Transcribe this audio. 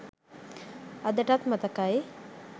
අදටත් මතකයි.